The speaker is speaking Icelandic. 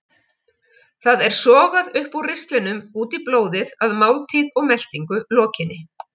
Það er sogað upp úr ristlinum út í blóðið að máltíð og meltingu lokinni.